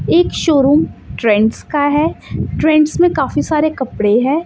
एक showroom Trends का है ट्रेंड्स में काफी सारे कपड़े है।